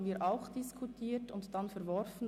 Das haben wir auch diskutiert, aber verworfen.